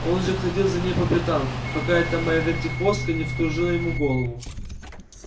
он же ходил за ней по пятам пока эта моя вертихвостка не вскружила ему голову